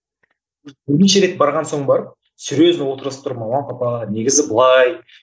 бірнеше рет барған соң барып серьезно отырғызып тұрып мама папа негізі былай